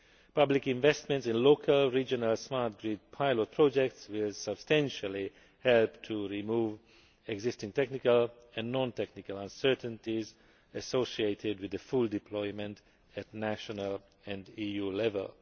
Public investments in local and regional smart grid pilot projects will substantially help to remove existing technical and non technical uncertainties associated with the full deployment at national and EU level.